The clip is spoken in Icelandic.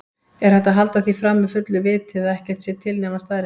Er hægt að halda því fram með fullu viti að ekkert sé til nema staðreyndir?